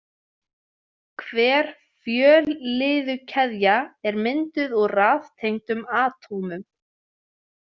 Hver fjölliðukeðja er mynduð úr raðtengdum atómum.